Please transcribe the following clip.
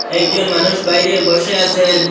একজন মানুষ বাইরে বসে আসেন।